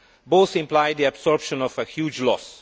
Both imply the absorption of a huge loss.